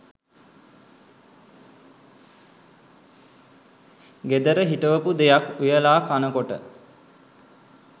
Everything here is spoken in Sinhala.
ගෙදර හිටවපු දෙයක් උයලා කනකොට